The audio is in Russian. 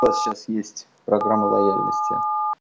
у вас сейчас есть программа лояльности